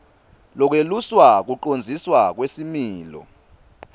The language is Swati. lekweluswa kucondziswa kwesimilo